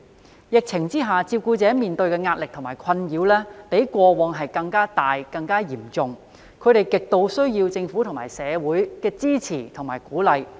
在疫情下，照顧者面對的壓力和困擾，比過往更大及更嚴重，他們極度需要政府和社會的支持和鼓勵。